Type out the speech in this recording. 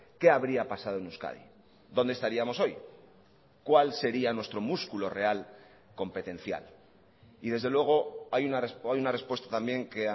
qué habría pasado en euskadi dónde estaríamos hoy cuál sería nuestro músculo real competencial y desde luego hay una respuesta también que